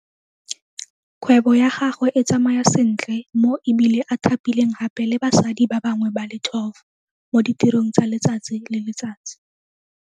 Kgwebo ya gagwe e tsamaya sentle mo e bile a thapileng gape le basadi ba bangwe ba le 12 mo ditirong tsa letsatsi le letsatsi.